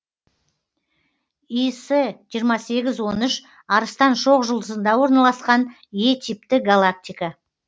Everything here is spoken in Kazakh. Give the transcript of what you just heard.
іс жиырма сегіз он үш арыстан шоқжұлдызында орналасқан е типті галактика